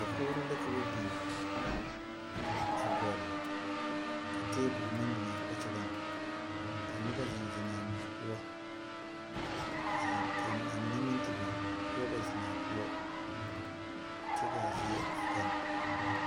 Dakouri la ka ba beng a gul ka tabul mang bing a kpakyaga ka nuba zeng zeng a pou ka a mene meng te bing nuba ba zeng a pou kye ka a zeɛ a gang.